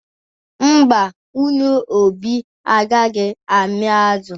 Mba, nwunye Obi agaghị amị azụ.